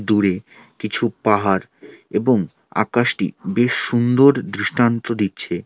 দূরে কিছু পাহাড় এবং আকাশটি বেশ সুন্দর দৃষ্টান্ত দিচ্ছে।